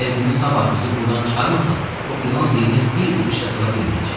Əgər günü sabah bizi burdan çıxarmasan, o ilan dilini bir də işə sala bilməyəcəksən.